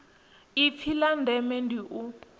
ipfi la ndeme ndi u